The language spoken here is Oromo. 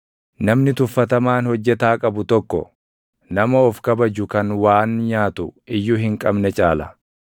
Namni tuffatamaan hojjetaa qabu tokko, nama of kabaju kan waan nyaatu iyyuu hin qabne caala.